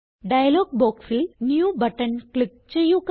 dialogue ബോക്സിൽ new button click ചെയ്യുക